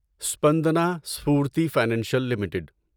Spandana Sphoorty financial limited